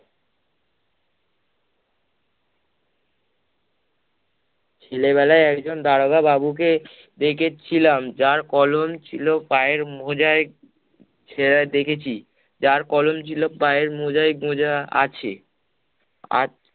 ছেলেবেলায় একজন দারোগা বাবুকে দেখেছিলাম যার কলম ছিলো পায়ের মোজায় ছেঁড়া দেখেছি, যার কলম ছিল পায়ের মোজায় গোজা আছে, আর